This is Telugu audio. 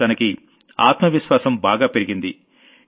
ఇప్పుడు తనకి ఆత్మ విశ్వాసం బాగా పెరిగింది